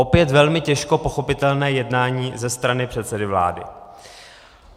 Opět velmi těžko pochopitelné jednání ze strany předsedy vlády.